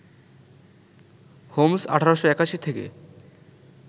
Holmes ১৮৮১ থেকে